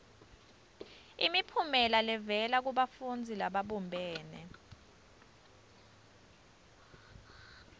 imiphumela levela kubafundzi lababumbene